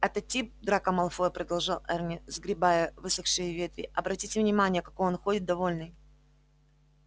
этот тип драко малфой продолжал эрни сгребая высохшие ветви обратите внимание какой он ходит довольный